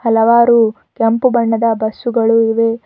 ಹಲವಾರು ಕೆಂಪು ಬಣ್ಣದ ಬಸ್ಸುಗಳು ಇವೆ.